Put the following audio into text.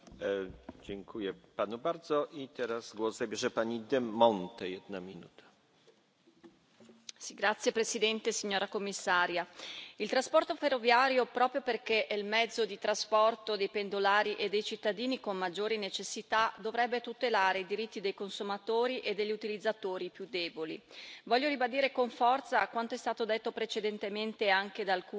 Signor Presidente, onorevoli colleghi, signora Commissario, il trasporto ferroviario, proprio perché è il mezzo di trasporto dei pendolari e dei cittadini con maggiori necessità, dovrebbe tutelare i diritti dei consumatori e degli utilizzatori più deboli. Voglio ribadire con forza quanto è stato detto precedentemente anche da alcuni colleghi, e cioè che il Parlamento